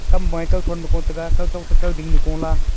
kam ma kao thon nu ko taiga kao tok takao ding nu kola.